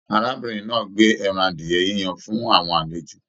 Arábìnrin náà gbé ẹran adiẹ yíyan fún àwọn àlejò.